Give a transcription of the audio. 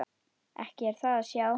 Ekki er það að sjá.